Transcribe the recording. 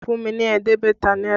Fún mi ní ẹ̀ẹ́dẹ́gbẹ̀ta náírà!